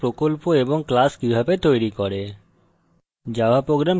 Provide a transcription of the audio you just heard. eclipse a প্রকল্প এবং class কিভাবে তৈরী করে